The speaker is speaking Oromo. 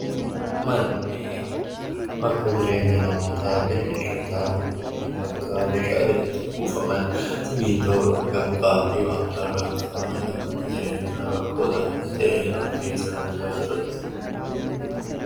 Manni bakka jireenya namootaa yookiin bineeldotaa bakka meeshaaleen itti kuufaman simmintoo, dhagaa, mukaa fi waan biraarraa kan ijaaramudha. Manni jireenyaa baka namni keessa jiraatudha.